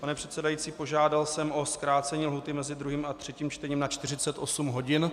Pane předsedající, požádal jsem o zkrácení lhůty mezi druhým a třetím čtením na 48 hodin.